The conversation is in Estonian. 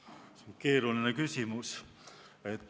See on keeruline küsimus.